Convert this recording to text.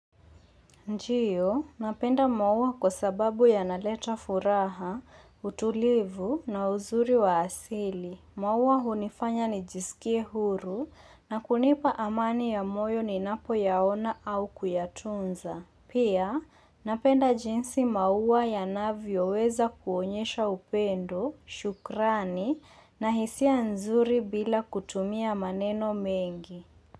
Ndio, napenda maua kwa sababu yanaleta furaha, utulivu na uzuri wa asili. Maua hunifanya nijisikie huru na kunipa amani ya moyo ni napo yaona au kuyatunza. Pia, napenda jinsi maua ya navyo weza kuonyesha upendo, shukrani na hisia nzuri bila kutumia maneno mengi.